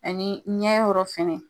A ni ɲɛ ye yɔrɔ fɛnɛ.